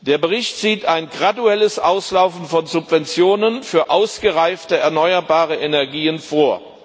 Der Bericht sieht ein graduelles Auslaufen von Subventionen für ausgereifte erneuerbare Energien vor.